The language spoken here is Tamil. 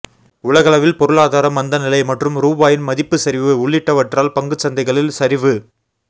உலகளவில் பொருளாதார மந்தநிலை மற்றும் ரூபாயின் மதிப்பு சரிவு உள்ளிட்டவற்றால் பங்குச் சந்தைகளில் சரிவு